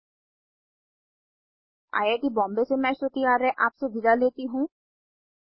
httpspoken tutorialorgNMEICT Intro I I T Bombay से मैं श्रुति आर्य आपसे विदा लेती हूँ